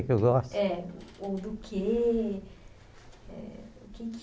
Eu gosto É ou do quê o que é que